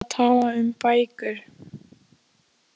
Hann var eitthvað að tala um bækur.